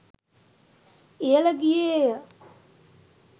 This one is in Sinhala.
ඉහළ ගියේ ය.